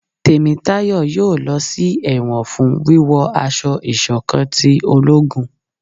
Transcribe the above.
Temitayo yóò lọ sí ẹwọn fún wíwo aṣọ ìṣọ̀kan tí ológún